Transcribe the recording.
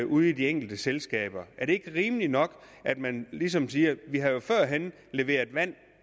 ude i de enkelte selskaber er det ikke rimeligt nok at man ligesom siger vi har jo førhen leveret vand